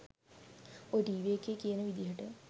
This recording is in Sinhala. ඔය ටීවී එකේ කියන විදිහට